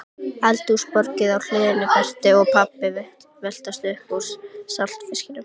Eldhúsborðið á hliðinni, Berti og pabbi veltast upp úr saltfisknum